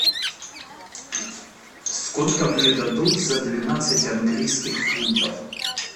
сколько мне дадут за двенадцать английских фунтов